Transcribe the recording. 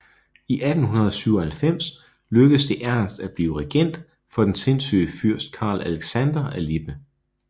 I 1897 lykkedes det Ernst at blive regent for den sindssyge fyrst Karl Alexander af Lippe